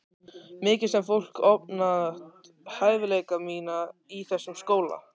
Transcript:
Mikið sem fólk ofmat hæfileika mína í þessum skóla.